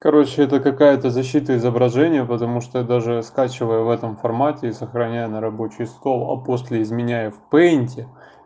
короче это какая-то защита изображения потому что даже скачивая в этом формате и сохраняю на рабочий стол а после изменяя в пейнте